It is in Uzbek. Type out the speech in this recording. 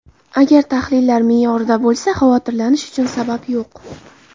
Agar tahlillar me’yorida bo‘lsa, xavotirlanish uchun sabab yo‘q!